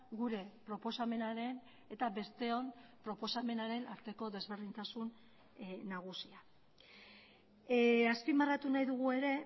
gure proposamenaren eta besteon proposamenaren arteko desberdintasun nagusia azpimarratu nahi dugu ere